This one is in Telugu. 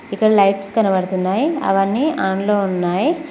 ఇక్కడ లైట్స్ కనబడుతున్నాయి అవన్నీ ఆన్ లో ఉన్నాయి